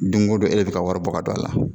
Don ko don e de bɛ ka wari bɔ ka don a la